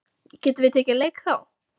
Getum við tekið leik við þá?